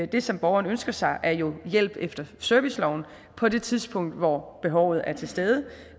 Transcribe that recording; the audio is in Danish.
det som borgeren ønsker sig er jo hjælp efter serviceloven på det tidspunkt hvor behovet er til stede